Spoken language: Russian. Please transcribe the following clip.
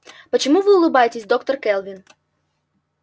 почему вы улыбаетесь доктор кэлвин